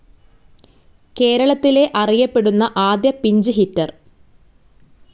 കേരളത്തിലെ അറിയപ്പെടുന്ന ആദ്യ പിഞ്ച്‌ ഹിറ്റർ.